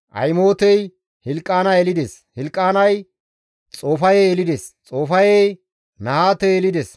Ahimootey Hilqaana yelides; Hilqaanay Xoofaye yelides; Xoofayey Nahaate yelides;